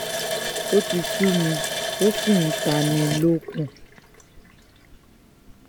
ó ti sú mi ó sì ń tánni-lókun